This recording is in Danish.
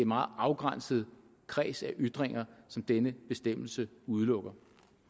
meget afgrænset kreds af ytringer som denne bestemmelse udelukker